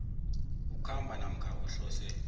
ukhamba namkha uhlose